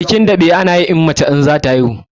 Bikin daɓe ana yi in mace zata haihu tana da ciki